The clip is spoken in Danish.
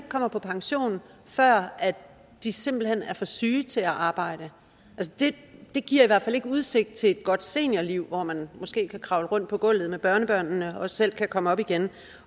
kommer på pension før de simpelt hen er for syge til at arbejde det giver i hvert fald ikke udsigt til et godt seniorliv hvor man måske kan kravle rundt på gulvet med børnebørnene og selv kan komme op igen